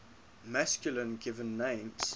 masculine given names